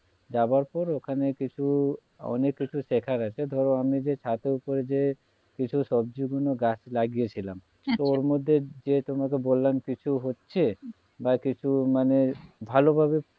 যাওয়ার পর ওখানে কিছু অনেক কিছু দেখার আছে ধরো আমি যে ছাদের ওপর এ যে কিছু সজ্বি গুলো গাছ লাগিয়েছিলাম আচ্ছা ওর মধ্যে যে তোমাকে বললাম কিছু হচ্ছে বা কিছু মানে ভালোভাবে